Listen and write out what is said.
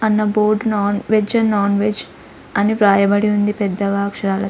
అన్న board non veg and non veg అని రాయబడి ఉంది పెద్దగా అక్షరాలు --